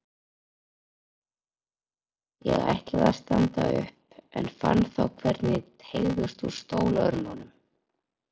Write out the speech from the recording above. Ég ætlaði að standa upp en fann þá hvernig teygðist úr stólörmunum.